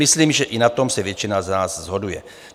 Myslím, že i na tom se většina z nás shoduje.